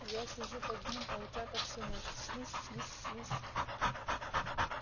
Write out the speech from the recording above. я сижу под ним а утята всю ночь свись свись свись